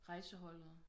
Rejseholdet